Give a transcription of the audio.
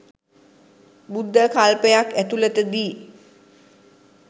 බුද්ධ කල්පයක් ඇතුලතදී